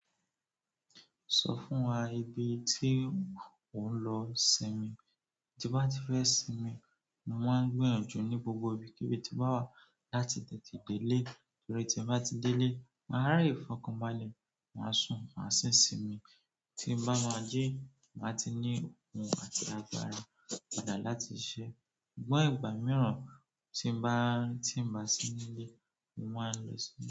Sọ fún wa ibi tí ò ń lọ sinmi. Tí n bá ti fẹ́ sinmi, mo máa ń gbìyànjú ní gbogbo ibi kíbi tí n bá wà láti tẹ́te dé ilé. Torí tí n bá ti dé ilé máa lè fọkàn balẹ̀ má sùn màá si simi tí n bá máa jí, mà á ti ní oòkùn àti agbára padà láti ṣisẹ. Ṣùgbọ́n ìgbà mìíràn, tí n bá ti n bá sì nílé mo máa ń.